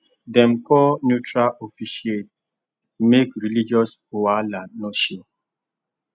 dem call neutral officiant make religious wahala no show